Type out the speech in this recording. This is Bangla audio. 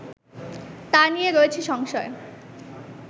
তা নিয়ে রয়েছে সংশয়